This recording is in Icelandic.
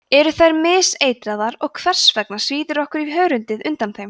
eru þær miseitraðar og hvers vegna svíður okkur í hörundið undan þeim